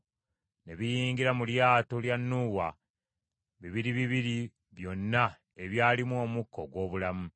Ne biyingira mu lyato lya Nuuwa bibiri bibiri byonna ebyalimu omukka ogw’obulamu.